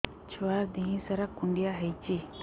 ଛୁଆର୍ ଦିହ ସାରା କୁଣ୍ଡିଆ ହେଇଚି